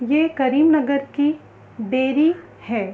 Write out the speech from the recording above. ये करीम नगर की डेरी है।